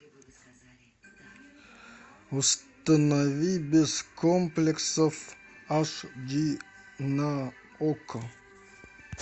установи без комплексов аш ди на окко